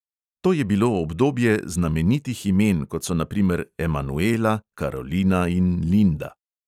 To je bilo obdobje znamenitih imen, kot so na primer emanuela, karolina in linda.